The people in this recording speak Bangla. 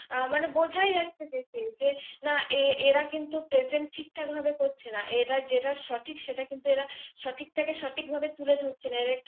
মানে বোঝাই যাচ্ছে যে কে যে না এরা কিন্তু PRESENT ঠিক ঠাক ভাবে করছে না, এরা যেটা সঠিক সেটা কিন্তু এরা সঠিক টাকে সঠিক ভাবে তুলে ধরছেনা।